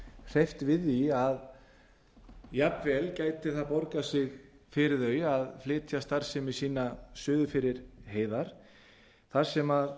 hreyft við því að jafnvel gæti það borgað sig fyrir þau að flytja starfsemi sína suður fyrir heiðar þar